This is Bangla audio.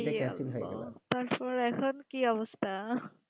তার পর আখন কি অবস্থা